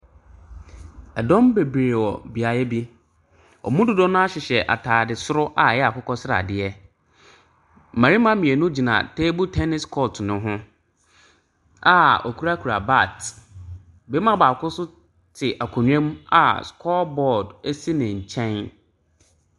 Ɛdɔm bebree wɔ beaeɛ bi. Wɔn mu dodoɔ no ara hyehyɛ atade soro a ɛyɛ akokɔsradeɛ. Mmarima mmienu gyina table tenis court npo ho a wɔkurakura bag. Barima baako nso te akonnwa mu a score board si ne nkyɛn.